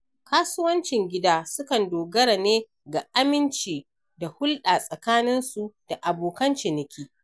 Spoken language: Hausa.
Kasuwancin gida sukan dogara ne ga aminci da hulɗa tsakaninsu da abokan ciniki.